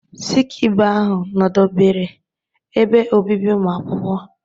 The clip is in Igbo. Sikibee ahụ nọdebere ebe obibi ụmụakwụkwọ